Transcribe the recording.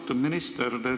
Austatud minister!